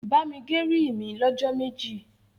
bá mí gé rí mí ló jó méjì.